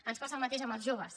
ens passa el mateix amb els joves